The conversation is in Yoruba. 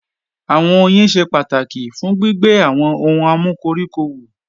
Àwọn oyin ṣe pàtàkì fún gbígbé àwọn ohun amúkoríko wù